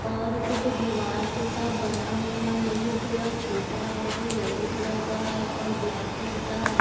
और कुछ दीवार जैसा बना हुआ है जो थोड़ा छोटा है जो येलो कलर का है और ब्लैक कलर का है।